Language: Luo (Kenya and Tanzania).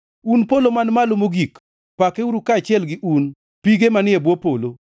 Un polo man malo mogik, pakeuru, kaachiel gi un, pige manie bwo polo.